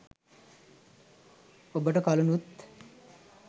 ඔබට කලිනුත්